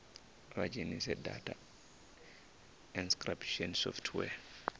vha dzhenise data encryption software